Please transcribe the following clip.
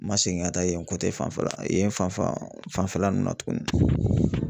N ma segin ka taa yen fanfɛla yen fan fan fanfɛla nunnu na tugunni.